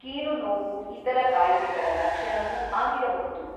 ಕೀಲು ನೋವು ಇತರ ಕಾಯಿಲೆಗಳ ಲಕ್ಷಣವೂ ಆಗಿರಬಹುದು.